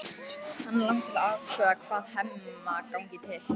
Hana langar til að athuga hvað Hemma gangi til.